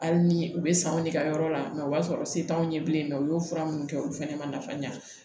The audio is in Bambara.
Hali ni u bɛ sanw ne ka yɔrɔ la mɛ o b'a sɔrɔ se t'anw ye bilen mɛ u y'o fura minnu kɛ olu fana ma nafa ɲɛ